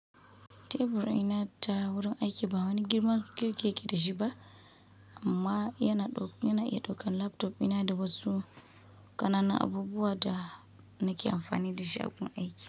Tebur ina ta wurin aiki ba wani girman kirkiya ke da shi ba amma yana iya ɗaukan laptop ina da wasu ƙanana abubuwa da nake amfani da shi a gun aiki.